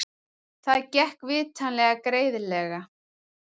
Það gekk vitanlega greiðlega.